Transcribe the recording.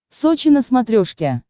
сочи на смотрешке